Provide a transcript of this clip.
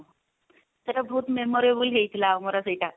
ସେଟା ବହୁତ memorable ହେଇଥିଲା ଆମର ସେଇଟା